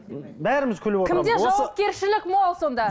бәріміз күліп кімде жауапкершілік мол сонда